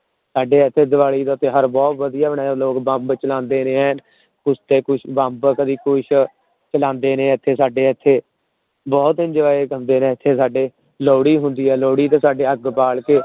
ਸਾਡੇ ਇੱਥੇ ਦੀਵਾਲੀ ਦਾ ਤਿਉਹਾਰ ਬਹੁਤ ਵਧੀਆ ਮਨਾਇਆ ਜਾਂਦਾ ਉਰੇ ਬੰਬ ਚਲਾਉਂਦੇ ਨੇ ਐਨ ਕੁਛ ਤੇ ਕੁਛ ਬੰਬ ਕਦੇ ਕੁਛ ਚਲਾਉਂਦੇ ਨੇ ਇੱਥੇ ਸਾਡੇ ਇੱਥੇ ਬਹੁਤ enjoy ਕਰਦੇ ਨੇ ਇੱਥੇ ਸਾਡੇ, ਲੋਹੜੀ ਹੁੰਦੀ ਹੈ ਲੋਹੜੀ ਤੇ ਸਾਡੇ ਅੱਗ ਬਾਲ ਕੇ